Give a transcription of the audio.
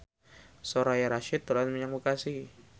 Soraya Rasyid dolan menyang Bekasi